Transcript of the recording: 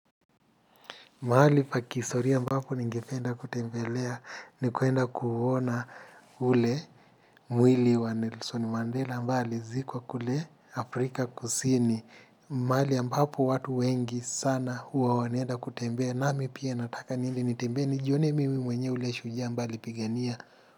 Mahali pa kihistoria ambapo ningependa kutembelea, ni kuenda kuuona ule mwili wa Nelson Mandela ambaye alizikwa kule Afrika kusini. Mahali ambapo watu wengi sana huwa wanaenda kutembelea. Nami pia nataka niende nitembee, nijione mimi mwenyewe ule shujaa ambaye alipigania.